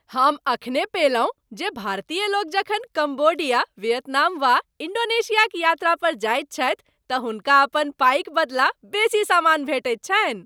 हम एखने पओलहुँ जे भारतीय लोक जखन कम्बोडिया, वियतनाम वा इण्डोनेशियाक यात्रा पर जाइ छथि तऽ हुनका अपन पाइक बदला बेसी सामान भेटैत छन्हि।